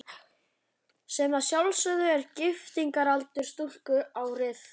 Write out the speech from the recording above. Sem að sjálfsögðu er giftingaraldur stúlku árið